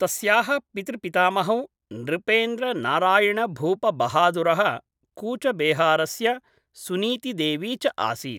तस्याः पितृपितामहौ नृपेन्द्रनारायणभूपबहादुरः कूचबेहारस्य सुनीतिदेवी च आसीत् ।